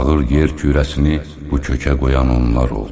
Fağır yer kürəsini bu kökə qoyan onlar oldu.